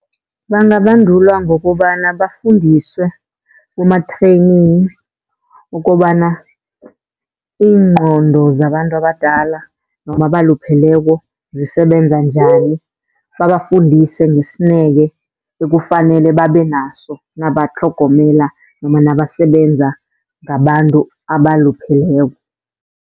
Bangabandulwa ngokobana bafundiswe kuma-training ukobana iingqondo zabantu abadala noma abalupheleko zisebenza njani, babafundise ngesineke ekufanele babe naso nabatlhogomela noma nabasebenza ngabantu abalupheleko.